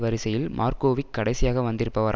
வரிசையில் மார்க்கோவிக் கடைசியாக வந்திருப்பவர்